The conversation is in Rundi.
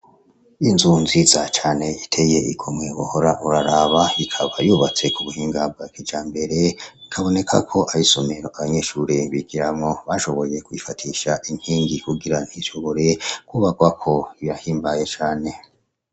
Inzu nziza cane iteye igomwe wohora uraraba ikaba yubatse ku buhinga bwa kijambere hakaboneka ko ar'isomero abanyeshure bigiramwo bashoboye kwifatisha inkingi kugira ntishobore kubarwako birahimbaye cane.